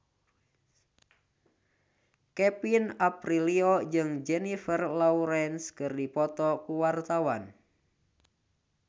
Kevin Aprilio jeung Jennifer Lawrence keur dipoto ku wartawan